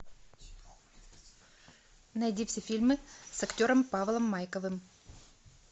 найди все фильмы с актером павлом майковым